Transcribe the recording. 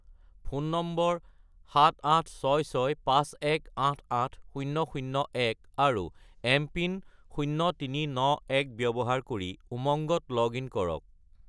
Phone number 78665188001 আৰু MPIN 0391 ব্যৱহাৰ কৰি উমংগত লগ-ইন কৰক।